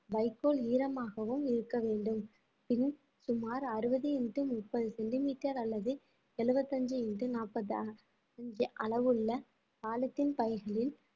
வைக்கோல் ஈரமாகவும் இருக்க வேண்டும் பின் சுமார் அறுபது into முப்பது சென்டிமீட்டர் அல்லது எழுபத்தி அஞ்சு into நாற்பது அளவுள்ள பாலித்தீன் பைகளில்